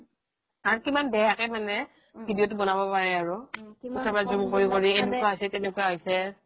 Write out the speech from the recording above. আৰু কিমান বেয়াকৈ videoটো মানে বনাব পাৰে আৰু zoom কৰি কৰি এনেকুৱা হৈছে কেনেকুৱা হৈছে